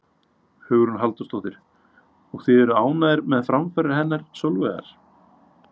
Hugrún Halldórsdóttir: Og þið eruð ánægðir með framfarir hennar Sólveigar?